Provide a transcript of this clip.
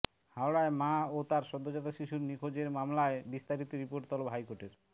হাওড়ায় মা ও সদ্যোজাত শিশুর নিখোঁজের মামলায় বিস্তারিত রিপোর্ট তলব হাইকোর্টের